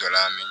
Dɔ la min